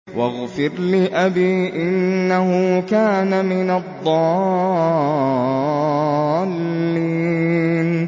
وَاغْفِرْ لِأَبِي إِنَّهُ كَانَ مِنَ الضَّالِّينَ